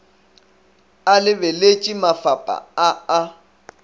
a lebeletše mafapha a a